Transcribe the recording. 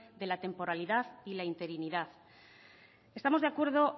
de la temporalidad y la interinidad estamos de acuerdo